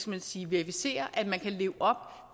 man sige verificere at man kan leve op